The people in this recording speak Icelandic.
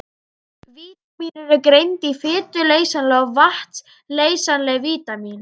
Vítamín eru greind í fituleysanleg og vatnsleysanleg vítamín.